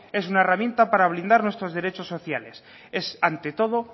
es una herramienta para blindar nuestros derechos sociales es ante todo